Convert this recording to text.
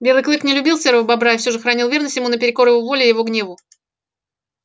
белый клык не любил серого бобра и все же хранил верность ему наперекор его воле его гневу